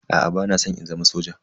Aa bana san in zama soja.